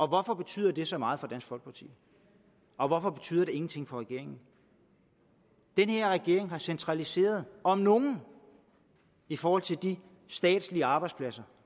hvorfor betyder det så meget for dansk folkeparti og hvorfor betyder det ingenting for regeringen den her regering har centraliseret om nogen i forhold til de statslige arbejdspladser